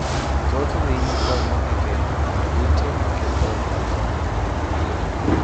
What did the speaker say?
Thoth winy konyo e geng'o kute maketho alwora.